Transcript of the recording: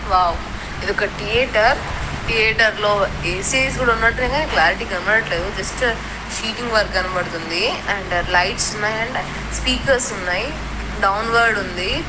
Wow ఇది ఒక theatre theatre లో ఏ-సీ-స్ కూడా ఉన్నట్టున్నాయి. క్లారిటీ గా కనబడట్లేదు జస్ట్ సిటింగ్ వరకు కనబడుతుంది. అండ్ లైట్స్ ఉన్నాయి. అండ్ స్పీకర్స్ ఉన్నాయి. డౌన్వోడ్ ఉంది.